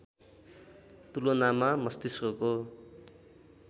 तुलनामा मस्तिष्कको